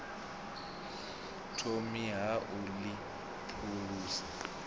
thomi ha u ḽi phulusa